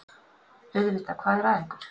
Auðvitað, hvað er að ykkur?